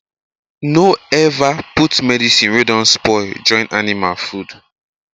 no ever put medicine wey don spoil join animal food